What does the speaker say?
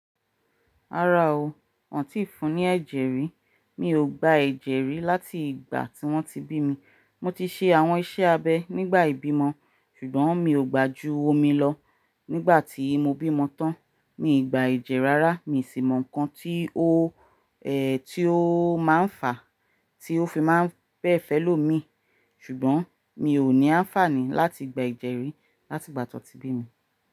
Rárá o. N tí fún ní ẹ̀jẹ̀ rí. Mi ò gba ẹ̀jẹ̀ rí láti ìgbà tí wọ́n ti bí mi. Mo ti ṣe àwọn iṣẹ́ abẹ nígbà ìbímọ ṣùgbọ́n mi ò gbà ju omi lọ. Nígbà tí mo bímọ tán, mii gba ẹ̀jẹ̀ rárá. Mi ò sì mọ nǹkan tí ó, tí ó máa ń fà, tí ó fi máa ń pẹ̀ fẹ́ lò mi. Ṣùgbọ́n mi ò ní anfààní láti gba ẹ̀jẹ̀ rí láti ìgbà tí wọ́n ti bí mi.